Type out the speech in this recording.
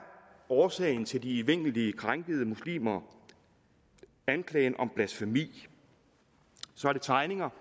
årsagen til de evindeligt krænkede muslimer anklagen om blasfemi så er det tegninger